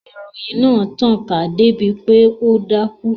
Ìròyìn náà tàn ká dé bi pé ó dákún